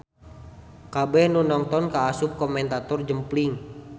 Kabeh nu nongton kaasup komentator jempling.